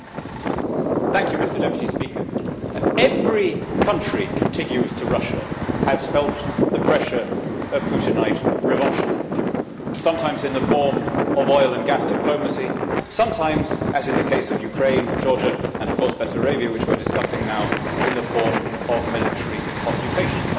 Mr President, every country contiguous to Russia has felt the pressure of Putinite revanchism, sometimes in the form of oil and gas diplomacy, sometimes, as in the case of Ukraine, Georgia and of course Bessarabia which we are discussing now, in the form of military occupation.